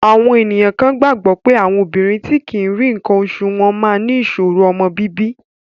Àwọn ènìyàn kan gbàgbọ́ pé àwọn obìnrin tí kì í rí nǹkan oṣù wọ́n máa ní ìṣòro ọmọ bíbí.